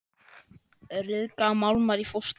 Ryðga málmar í frosti?